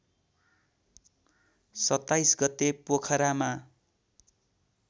२७ गते पोखरामा